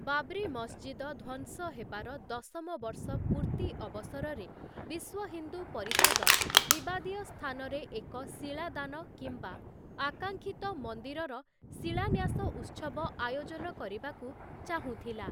ବାବ୍ରି ମସଜିଦ ଧ୍ୱଂସ ହେବାର ଦଶମ ବର୍ଷ ପୂର୍ତ୍ତି ଅବସରରେ, ବିଶ୍ୱ ହିନ୍ଦୁ ପରିଷଦ ବିବାଦୀୟ ସ୍ଥାନରେ ଏକ ଶିଳାଦାନ କିମ୍ବା ଆକାଂକ୍ଷିତ ମନ୍ଦିରର ଶିଳାନ୍ୟାସ ଉତ୍ସବ ଆୟୋଜନ କରିବାକୁ ଚାହୁଁଥିଲା ।